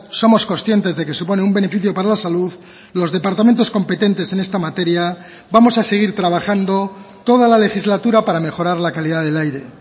somos conscientes de que supone un beneficio para la salud los departamentos competentes en esta materia vamos a seguir trabajando toda la legislatura para mejorar la calidad del aire